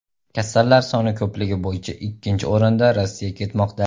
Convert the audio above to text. Kasallar soni ko‘pligi bo‘yicha ikkinchi o‘rinda Rossiya ketmoqda.